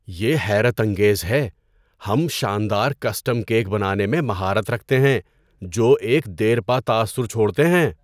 یہ حیرت انگیز ہے! ہم شاندار کسٹم کیک بنانے میں مہارت رکھتے ہیں جو ایک دیرپا تاثر چھوڑتے ہیں۔